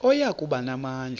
oya kuba namandla